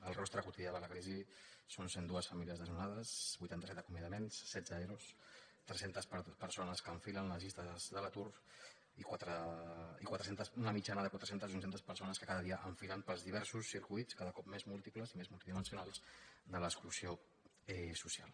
el rostre quotidià de la crisi són cent i dos famílies desno·nades vuitanta set acomiadaments setze ero tres cents persones que enfilen les llistes de l’atur i una mitjana de quatre cents o cinc cents persones que cada dia enfilen pels diversos circuits cada cop més múltiples i més multidimensionals de l’exclusió social